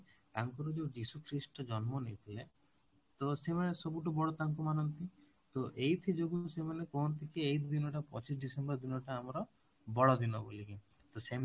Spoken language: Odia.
ତାଙ୍କର ଯୋଉ ଯୀଶୁକ୍ରିଷ୍ଟ ଜନ୍ମ ନେଇଥିଲେ ତ ସେମାନେ ସବୁଠୁ ବଡ ତାଙ୍କୁ ମାନନ୍ତି ତ ଏଇଥି ଯୋଗୁଁ ସେମାନେ କୁହନ୍ତି କି ଏଇ ଦିନଟା ପଚିଶ December ଦିନଟା ଆମର ବଡ ଦିନ ବୋଲି କି ତ ସେମିତି